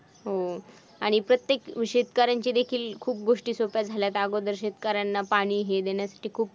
हम्म आणि प्रत्येक शेतकऱ्यांचे देखील खूप गोष्टी सोप्या झाल्या आहेत अगोदर शेतकऱ्यांना पाणी हे देण्यासाठी खूप